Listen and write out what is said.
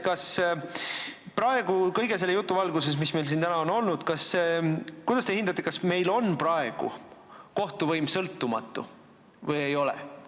Kuidas te kõige selle jutu valguses, mis meil siin täna on olnud, hindate, kas meil on kohtuvõim praegu sõltumatu või ei ole?